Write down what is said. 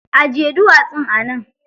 Ajiye duwatsun a nan.